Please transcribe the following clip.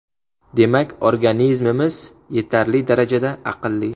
Demak, organizmimiz yetarli darajada aqlli.